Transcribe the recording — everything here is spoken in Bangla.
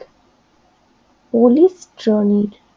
পলিস্টট্রনিক